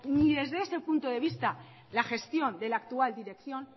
ni desde ese punto de vista la gestión de la actual dirección